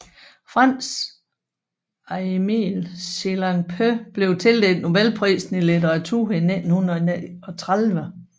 Frans Eemil Sillanpää blev tildelt Nobelprisen i litteratur i 1939